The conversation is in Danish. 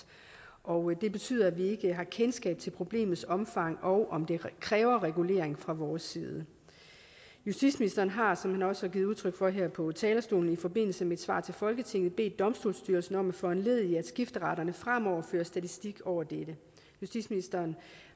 og det betyder at vi ikke har kendskab til problemets omfang og om det kræver en regulering fra vores side justitsministeren har som han også har givet udtryk for her på talerstolen i forbindelse med et svar til folketinget bedt domstolsstyrelsen om at foranledige at skifteretterne fremover fører statistik over dette justitsministeren